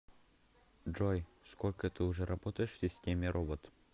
джой сколько ты уже работаешь в системе робот